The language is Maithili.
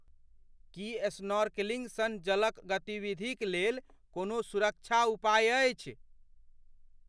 की स्नॉर्कलिंग सन जलक गतिविधिक लेल कोनो सुरक्षा उपाय अछि?